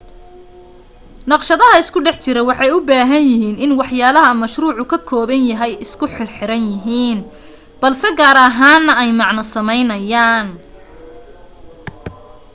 naqshadaha isku dhex jira waxay u baahan yihiin in waxyaalaha mashruucu ka kooban yahay isku xirxiran yihiin balse gaar ahaana ay macno sameynayaan